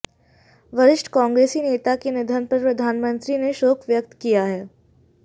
वरिष्ठ कांग्रेसी नेता के निधन पर प्रधानमंत्री ने शोक व्यक्त किया है